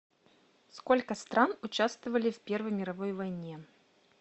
сколько стран учавствовали в первой мировой войне